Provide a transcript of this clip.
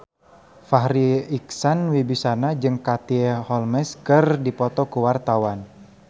Farri Icksan Wibisana jeung Katie Holmes keur dipoto ku wartawan